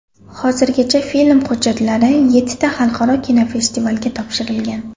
Hozirgacha film hujjatlari yettita xalqaro kinofestivalga topshirilgan.